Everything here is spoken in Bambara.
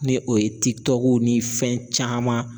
Ni o ye tikitɔkuw ni fɛn caman